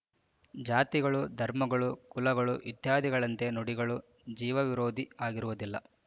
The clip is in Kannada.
ಜಾತಿಗಳು ಧರ್ಮಗಳು ಕುಲಗಳು ಇತ್ಯಾದಿಗಳಂತೆ ನುಡಿಗಳು ಜೀವವಿರೋಧಿ ಆಗಿರುವುದಿಲ್ಲ